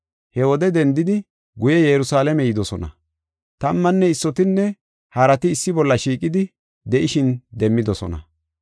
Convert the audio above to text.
He wode dendidi guye Yerusalaame yidosona. Tammanne issotinne harati issi bolla shiiqidi de7ishin demmidosona.